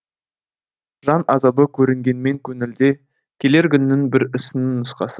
жан азабы көрінгенмен көңілде келер күнің бір ісіңнің нұсқасы